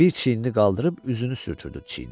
Bir çiyinini qaldırıb üzünü sürtdürüb çiyinə.